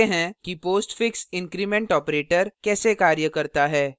देखते हैं कि postfix increment operator कैसे कार्य करता है